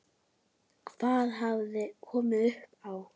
Hvað hafði komið upp á?